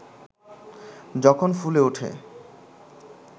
যখন ফুলে ওঠে